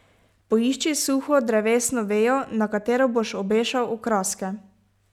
Poišči suho drevesno vejo, na katero boš obešal okraske.